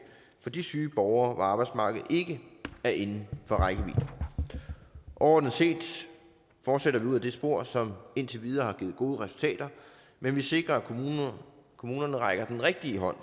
for de syge borgere hvor arbejdsmarkedet ikke er inden for rækkevidde overordnet set fortsætter vi ud ad det spor som indtil videre har givet gode resultater men vi sikrer at kommunerne rækker den rigtige hånd